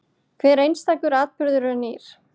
Hver einstakur atburður er nýr.